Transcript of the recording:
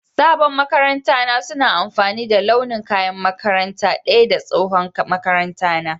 sabon maƙaranta na suna amfani da launin kaƴan makaranta daƴa da tsohon maƙaranta na